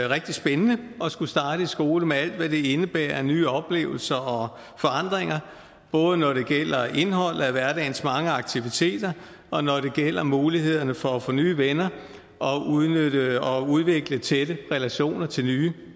rigtig spændende at skulle starte i skole med alt hvad det indebærer af nye oplevelser og forandringer både når det gælder indholdet af hverdagens mange aktiviteter og når det gælder mulighederne for at få nye venner og udvikle tætte relationer til nye